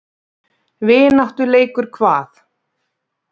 Vináttuleikur hvað?